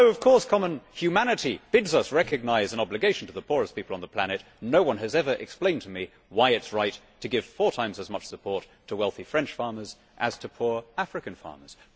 Although of course common humanity bids us recognise an obligation to the poorest people on the planet, no one has ever explained to me why it is right to give four times as much support to wealthy French farmers as to poor African farmers.